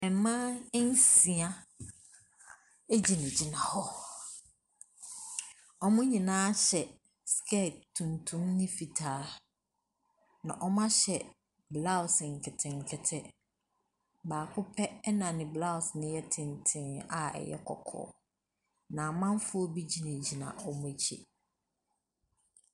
Mmaa nsia egyina gyina hɔ. Ɔmo nyinaa hyɛ skɛt tuntum ne fitaa. Na ɔmo ahyɛ blaos nketenkete. Baako pɛ ɛna ne blaos ne yɛ tenten a ɛyɛ kɔkɔɔ. Na amanfoɔ bi gyina gyina ɔmo akyi.